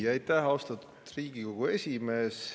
Aitäh, austatud Riigikogu esimees!